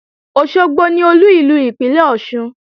Òṣogbo ni Olú ìlú ìpínlè Ọ̀ṣun